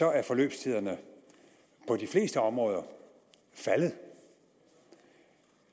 er forløbstiderne på de fleste områder faldet